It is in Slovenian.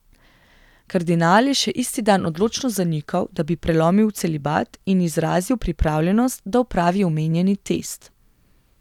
Kardinal je še isti dan odločno zanikal, da bi prelomil celibat, in izrazil pripravljenost, da opravi omenjeni test.